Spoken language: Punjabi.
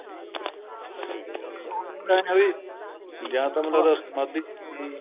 ਉਹਨਾ ਦਾ ਐਂ ਆ ਵੀ ਜਾਂ ਤਾਂ ਮਤਲਬ ਸਮਾਂਧੀ ਸਮੁਧੀ